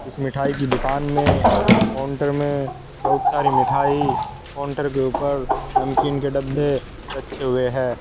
मिठाई की दुकान में काउंटर में बहुत सारी मिठाई काउंटर के ऊपर नमकीन के डब्बे रखे हुए हैं।